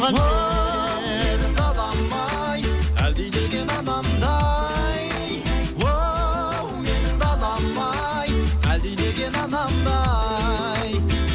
оу менің далам ай әлдилеген анамдай оу менің далам ай әлдилеген анамдай